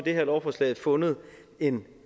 her lovforslag har fundet en